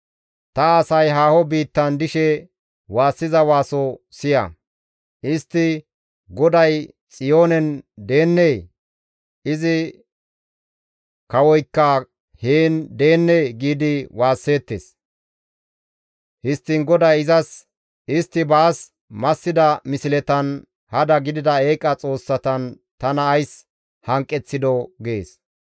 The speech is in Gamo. Ta asay haaho biittan dishe waassiza waaso siya. Istti, «GODAY Xiyoonen deennee? Izi kawoykka heen deennee?» giidi waasseettes. Histtiin GODAY izas, «Istti baas massida misletan, hada gidida eeqa xoossatan tana ays hanqeththidoo?» gees.